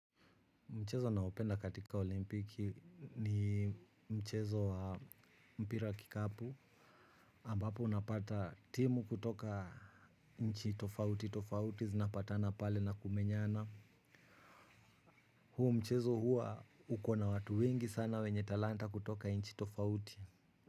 Mchezo naopenda katika olimpiki ni mchezo wa mpira wa kikapu ambapo unapata timu kutoka inchi tofauti tofauti zinapatana pale na kumenyana. Hu mchezo hua ukona watu wingi sana wenye talanta kutoka inchi tofauti.